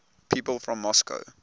people from moscow